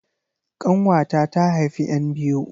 ƙanwata ta haifi 'yan biyu